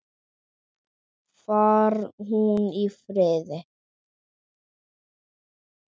Far hún í friði.